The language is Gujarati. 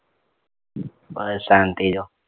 બસ શાંતિ જો